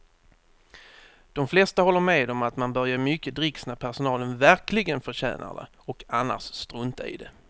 De flesta håller med om att man bör ge mycket dricks när personalen verkligen förtjänar det och annars strunta i det.